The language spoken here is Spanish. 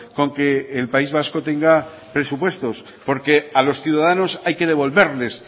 con que el país vasco tenga presupuestos porque a los ciudadanos hay que devolverles